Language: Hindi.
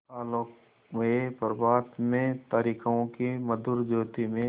आलोकमय प्रभात में तारिकाओं की मधुर ज्योति में